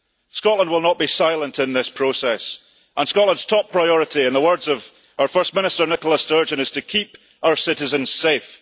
Scotland will not be silent in this process, and Scotland's top priority, in the words of our First Minister Nicola Sturgeon, is to keep our citizens safe.